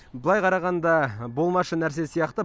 былай қарағанда болмашы нәрсе сияқты